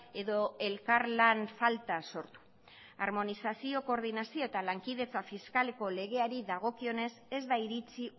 edo elkarlan falta sortu harmonizazio koordinazio eta lankidetza fiskaleko legeari dagokionez ez da iritzi